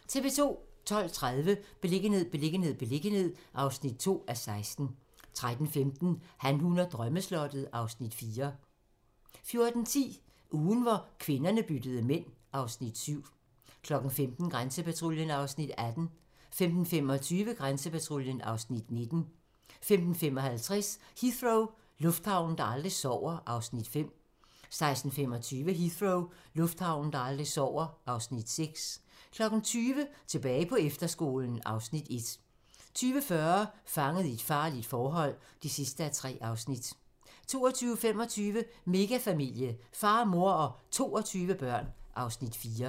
12:30: Beliggenhed, beliggenhed, beliggenhed (2:16) 13:15: Han, hun og drømmeslottet (Afs. 4) 14:10: Ugen, hvor kvinderne byttede mænd (Afs. 7) 15:00: Grænsepatruljen (Afs. 18) 15:25: Grænsepatruljen (Afs. 19) 15:55: Heathrow - lufthavnen, der aldrig sover (Afs. 5) 16:25: Heathrow - lufthavnen, der aldrig sover (Afs. 6) 20:00: Tilbage på efterskolen (Afs. 1) 20:40: Fanget i et farligt forhold (3:3) 22:25: Megafamilie - far, mor og 22 børn (Afs. 4)